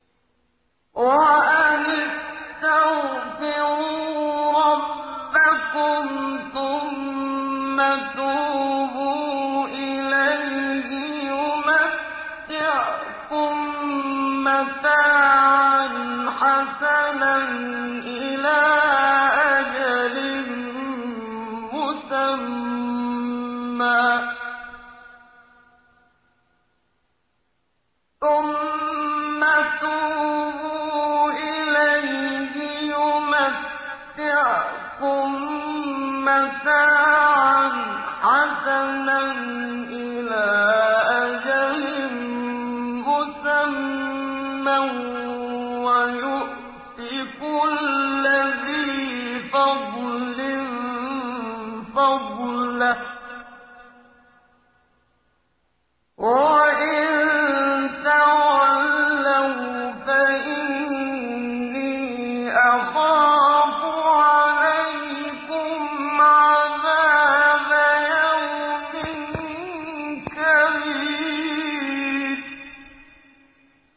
وَأَنِ اسْتَغْفِرُوا رَبَّكُمْ ثُمَّ تُوبُوا إِلَيْهِ يُمَتِّعْكُم مَّتَاعًا حَسَنًا إِلَىٰ أَجَلٍ مُّسَمًّى وَيُؤْتِ كُلَّ ذِي فَضْلٍ فَضْلَهُ ۖ وَإِن تَوَلَّوْا فَإِنِّي أَخَافُ عَلَيْكُمْ عَذَابَ يَوْمٍ كَبِيرٍ